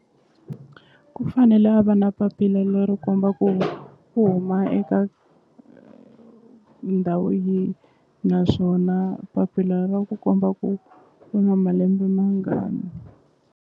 Ku fanele a va na papila leri komba ku u huma eka ndhawu yi naswona papila ra ku komba ku u na malembe mangani.